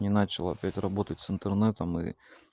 не начал опять работать с интернетом и